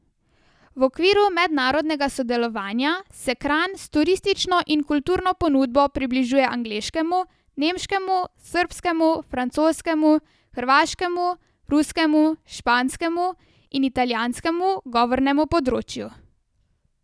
V okviru mednarodnega sodelovanja se Kranj s turistično in kulturno ponudbo približuje angleškemu, nemškemu, srbskemu, francoskemu, hrvaškemu, ruskemu, španskemu in italijanskemu govornemu področju.